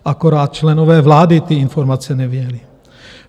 Akorát členové vlády ty informace neviděli.